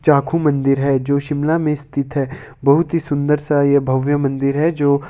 चाखू मन्दिर है जो शिमला मे स्थित हैं बहुत ही सुन्दर सा ये भव्य मंदिर है जो--